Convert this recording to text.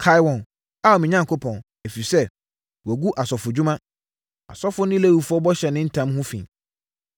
Kae wɔn, Ao me Onyankopɔn, ɛfiri sɛ, wɔagu asɔfodwuma, asɔfoɔ ne Lewifoɔ bɔhyɛ ne ntam ho fi.